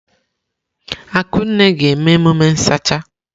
Akunne ga-eme emume nsacha.